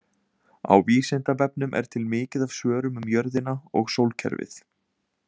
Á Vísindavefnum er til mikið af svörum um jörðina og sólkerfið.